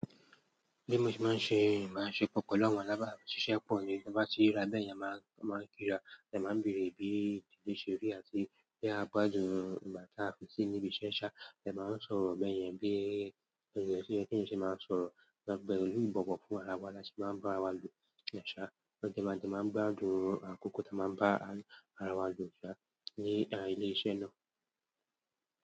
Bí mo ṣe máa ń ṣe, ìbáṣepọ̀ pẹ̀lú àwọn alábàṣiṣẹ́ pọ̀ ni. Bí wọ́n bá ti rà bẹ́ẹ̀ yẹn, a màá kí ra, wọn dè máa ń bèrè bí ìdílé ṣe rí àti bí a gbádùn ìgbà tá a fi sí ní ibi iṣẹ́ ṣá. Ẹ máa ń sọ̀rọ̀ bẹ́ẹ̀ yẹn bí ènìyàn tí ó ń ṣe máa ń sọ̀rọ̀. Lábẹ́ olù ìbọ̀wọ̀ fún ara wa lá ṣe máa ń bá ra wa lò ṣá. Lo jẹ́ máa dín máa ń gbádùn àkókò tí a máa ń bá ara wa lò ṣá ní ilé iṣẹ́ náà.